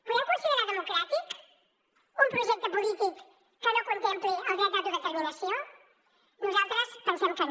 podem considerar democràtic un projecte polític que no contempli el dret d’autodeterminació nosaltres pensem que no